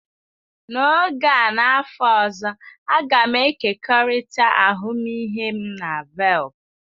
N'oge a n'afọ ọzọ, a ga m ekekọrịta ahụmịhe m na Velp.